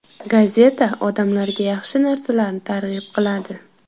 Gazeta odamlarga yaxshi narsalarni targ‘ib qiladi.